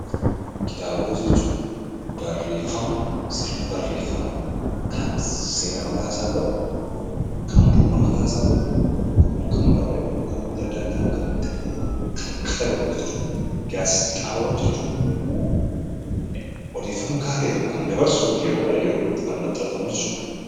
Kitaabota jechuun barreeffama sirna barreeffamaa kan seera mataasaa qabu, kan bu'uura mataasaa qabu nama tokkoon kan barreeffame yokaan namoota adda addaan kan ta'ee kan katabamu jechuudha. Gaazexaawwan jechuun immoo odeeffannoo gahaa ta'e tokko kan dabarsu yeroodhaa yerootti kan maxxanfamuu jechuudha.